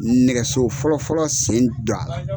Nɛgɛso fɔlɔ fɔlɔ sen don a la.